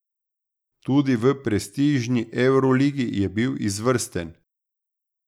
Tudi v prestižni evroligi je bil izvrsten.